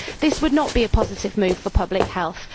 This would not be a positive move for public health.